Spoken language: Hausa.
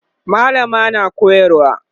mallamar na koyarwa